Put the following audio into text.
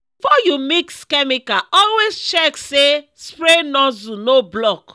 before you mix chemical always check say spray nozzle no block.